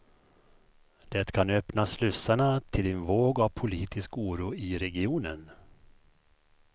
Det kan öppna slussarna till en våg av politisk oro i regionen.